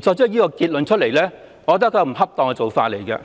作出這個結論，我覺得這是不恰當的。